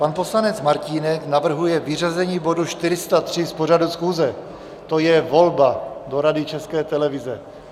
Pan poslanec Martínek navrhuje vyřazení bodu 403 z pořadu schůze, to je volba do Rady České televize.